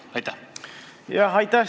Jah, aitäh!